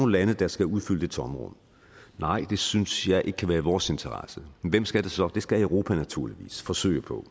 lande der skal udfylde det tomrum nej det synes jeg ikke kan være i vores interesse hvem skal det så det skal europa naturligvis forsøge på